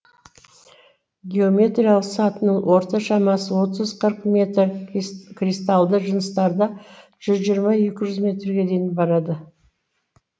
геометриялық сатының орта шамасы отыз қырық метр кристалды жыныстарда жүз жиырма екі жүз метрге дейін барады